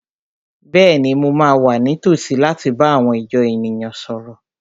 Bẹ́ẹ̀ni, mo máa wà ní tòsí láti bá àwọn ìjọ èèyàn náà sọ̀rọ̀